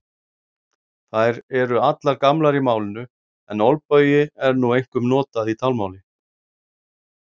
Þær eru allar gamlar í málinu en olbogi er nú einkum notað í talmáli.